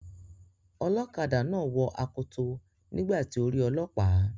Ọlọ́kadà náà wọ akoto nígbà tí ó rí ọlọ́pàá.